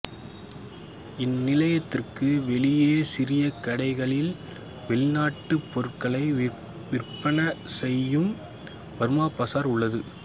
இந்நிலையத்திற்கு வெளியே சிறிய கடைகளில் வெளிநாட்டு பொருட்களை விற்பனை செய்யும் பர்மா பசார் உள்ளது